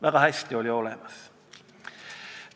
Väga selgelt on olemas!